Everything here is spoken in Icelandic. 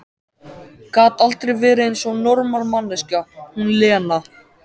Gat aldrei verið eins og normal manneskja, hún Lena!